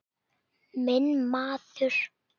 Minn maður.